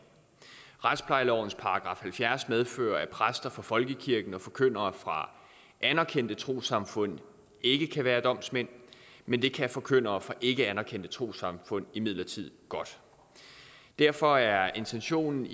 retsplejelovens § halvfjerds medfører at præster fra folkekirken og forkyndere fra anerkendte trossamfund ikke kan være domsmænd men det kan forkyndere fra ikkeanerkendte trossamfund imidlertid godt derfor er intentionen